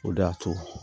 O de y'a to